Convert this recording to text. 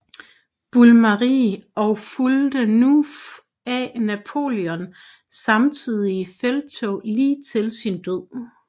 Brumaire og fulgte fra nu af Napoleon i samtlige felttog lige til sin død